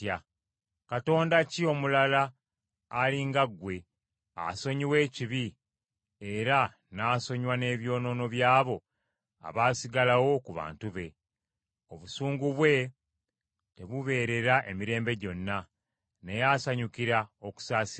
Katonda ki omulala ali nga ggwe, asonyiwa ekibi era n’asonyiwa ebyonoono byabo abaasigalawo ku bantu be? Obusungu bwe tebubeerera emirembe gyonna, naye asanyukira okusaasira.